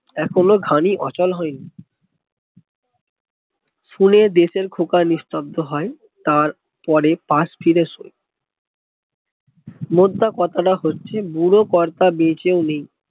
এখনো ঘানি অচল হয় নি শুনে দেশের খোকা নিস্তব্দ হয় তার পরে পাস ফিরে শোয় মোদ্দা কথা টা হচ্ছে বুড়ো কর্তা বেঁচে ও নেই